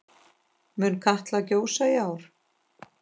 Mun Katla gjósa í ár?